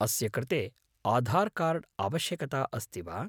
अस्य कृते आधार् कार्ड् आवश्यकता अस्ति वा?